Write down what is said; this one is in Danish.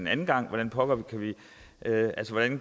anden gang hvordan vi